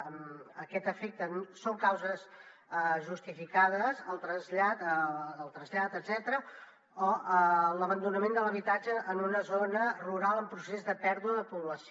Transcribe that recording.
a aquest efecte són causes justificades el trasllat etcètera o l’abandonament de l’habitatge en una zona rural en procés de pèrdua de població